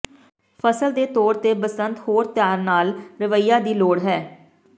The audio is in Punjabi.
ਫਸਲ ਦੇ ਤੌਰ ਤੇ ਬਸੰਤ ਹੋਰ ਧਿਆਨ ਨਾਲ ਰਵੱਈਆ ਦੀ ਲੋੜ ਹੈ